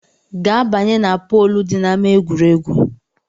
Ga banye na poolu dị n’ama egwuregwu!